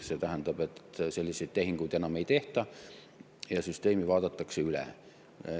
See tähendab, et selliseid tehinguid enam ei tehta ja süsteem vaadatakse üle.